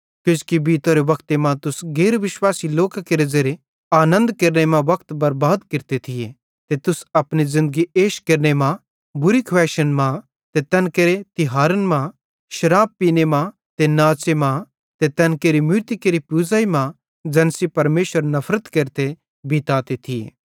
किजोकि बीतोरे वक्ते मां तुस गैर विश्वासी लोकां केरे ज़ेरे आनन्द केरने मां वक्त बर्बाद केरते थिये ते तुस अपनी ज़िन्दगी एश केरने मां बुरी खुवैइशन मां ते तैन केरे तिहारन मां शराब पींने मां ते नाच़े मां ते तैन केरि मूरती केरि पूज़ाईं मां ज़ैन सेइं परमेशर नफरत केरते बीताते थिये